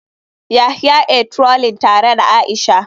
Yahaya ia trolling tare da aisha.